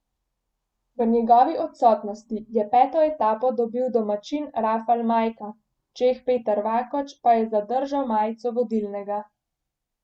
V njegovi odsotnosti je peto etapo dobil domačin Rafal Majka, Čeh Petr Vakoč pa je zadržal majico vodilnega.